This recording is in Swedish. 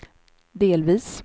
delvis